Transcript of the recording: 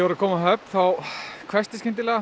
að koma á Höfn þá hvessti skyndilega